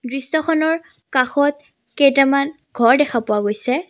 দৃশ্যখনৰ কাষত কেইটামান ঘৰ দেখা পোৱা গৈছে।